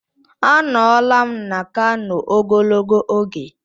Anọla na Kano ogologo oge!